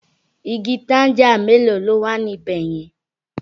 Igi tanga mélòó ló wà ní bẹ̀ yẹn?